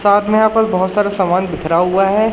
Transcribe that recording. साथ में यहां पर बहुत सारा सामान बिखरा हुआ है।